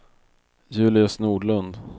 Julius Nordlund